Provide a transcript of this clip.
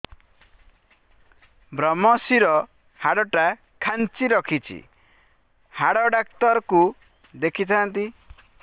ଵ୍ରମଶିର ହାଡ଼ ଟା ଖାନ୍ଚି ରଖିଛି ହାଡ଼ ଡାକ୍ତର କୁ ଦେଖିଥାନ୍ତି